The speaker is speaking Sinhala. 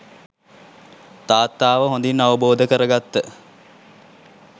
තාත්තාව හොඳින් අවබෝධ කරගත්ත